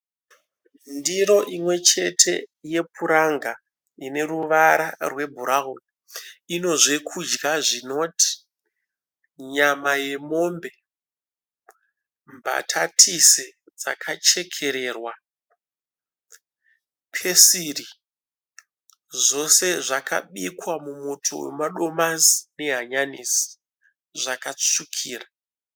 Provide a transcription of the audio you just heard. Ndiro imwe chete yepuranga ine ruvara rwebhurauni. Ine zvokudya zvinoti nyama yemombe, mbatatisi dzakachekererwa, pesiri zvose zvakabikwa mumuto wemadomasi nehanyanisi zvakatsvukira.